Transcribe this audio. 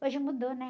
Hoje mudou, né?